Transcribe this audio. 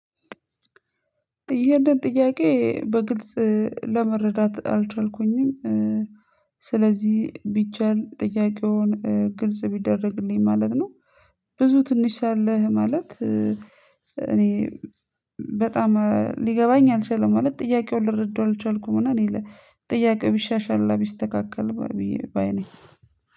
ይህንን ጥያቄ በግልጽ ለመረዳት አልቻልኩኝም ስለዚህ ቢቻል ጥያቄውን ግልጽ ቢደረግልኝ ማለት ነው። ብዙ ትንሽ ሳለህ ማለት እኔ በጣም ሊገባኝ አልቻለም ማለት ጥያቄው ልረዳው አልቻልኩም። እና ጥያቄ ቢሻሻል እና ቢስተካከል። ባይ ነኝ